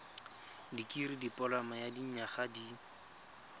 dikirii dipoloma ya dinyaga di